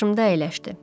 Qarşımda əyləşdi.